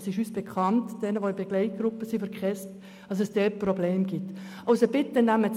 Dieses Problem ist uns bekannt, insbesondere jenen, welche der Begleitgruppe der KESB angehören.